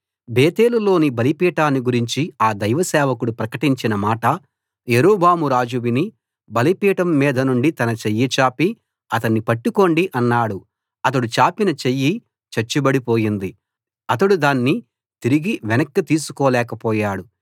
బేతేలులోని బలిపీఠాన్ని గురించి ఆ దైవ సేవకుడు ప్రకటించిన మాట యరొబామురాజు విని బలిపీఠం మీదనుండి తన చెయ్యి చాపి అతన్ని పట్టుకోండి అన్నాడు అతడు చాపిన చెయ్యి చచ్చుబడి పోయింది అతడు దాన్ని తిరిగి వెనక్కి తీసుకోలేకపోయాడు